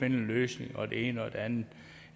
en løsning og det ene og det andet